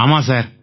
ஆமாம் சார்